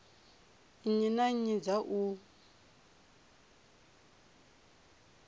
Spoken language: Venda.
nnyi na nnyi dza u